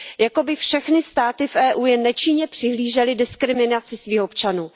jako by všechny státy v EU jen nečinně přihlížely diskriminaci svých občanů.